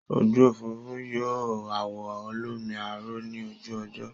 Ojú òfuurufú yọ àwọ̀ olómi aró ní ojú ọjọ́